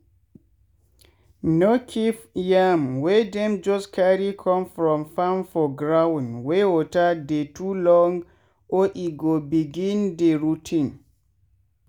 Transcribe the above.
no keep yam wey dem just carry come from farm for gound wey water dey too long or e go begin dey rot ten.